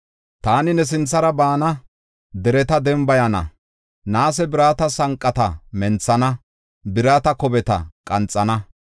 Taani ne sinthara baana; dereta dembayana; naase birata sanqata menthana; birata kobeta qanxana.